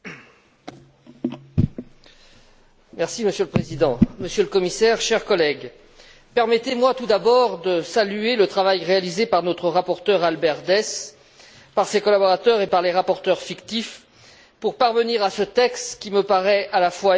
Monsieur le Président, Monsieur le Commissaire, chers collègues, permettez moi tout d'abord de saluer le travail réalisé par notre rapporteur Albert Dess, par ses collaborateurs et par les rapporteurs fictifs, pour parvenir à ce texte qui me paraît à la fois équilibré et ambitieux et que nous voterons demain.